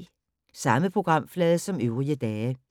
Samme programflade som øvrige dage